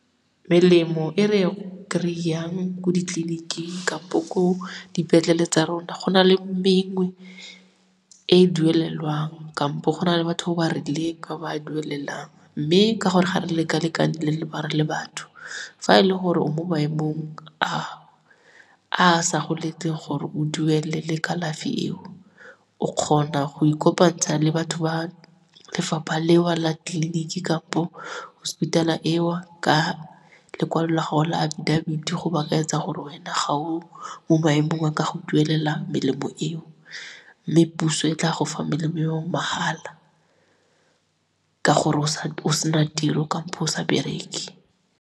Melemo e re e kry-ang ko ditleliniking ko dipetlele tsa rona, go na le mengwe e e duelelwang kampo go na le batho ba ba rileng ba ba duelelang mme ka gore ga re leka-lekane fa e le gore o mo maemong a a sa go letleng gore o duelele kalafi eo, o kgona go ikopantsha le batho ba lefapha leo la tleliniking kampo hospital-a eo ka lekwalo la go la abidabiti go ba kaetsa gore wena ga o mo maemong a ka go duelelang melemo eo, mme puso e tla go fa melemo eo mahala ka gore o sena tiro kampo o sa bereke.